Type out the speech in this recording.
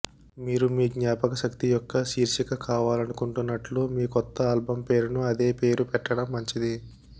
మీరు మీ జ్ఞాపకశక్తి యొక్క శీర్షిక కావాలనుకుంటున్నట్లు మీ కొత్త ఆల్బం పేరును అదే పేరు పెట్టడం మంచిది